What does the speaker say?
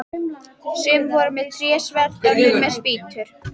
Sum voru með trésverð, önnur með spýtur.